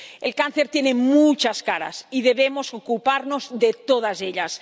El cáncer tiene muchas caras y debemos ocuparnos de todas ellas.